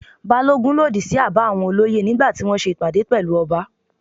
Balogun lòdì sí àbá àwọn olóyè nígbà tí wọ́n ṣe ìpàdé pẹ̀lú ọba.